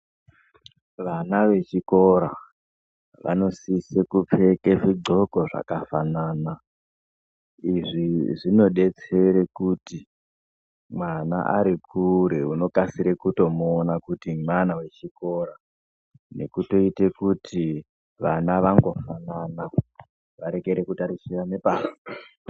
Vana vechikora vanosisa kupfeka zvigloko zvakafanana izvi zvinodetsere kuti mwana arikure onokasira kutomuona kuti mwana wechikora nukutoite kuti vana ndofanana varekere kutarisirana pasi